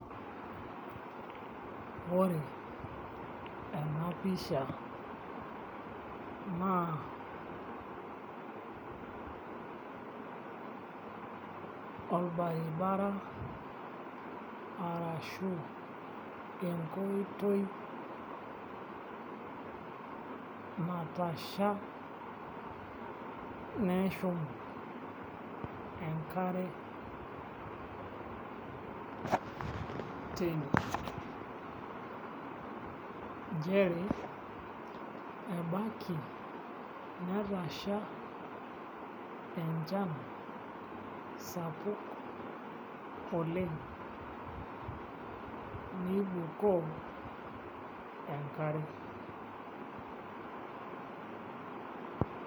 Ore ena pisha naa olbaribara arashu enkoitoi natasha neshum enkare teine nchere ebaiki netasha enchan sapuk oleng' nibukoo enkare.